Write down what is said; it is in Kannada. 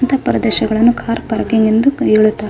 ಇಂತ ಅರ್ದೇಶವನ್ನು ಕಾರ್ ಪಾರ್ಕಿಂಗ್ ಎಂದು --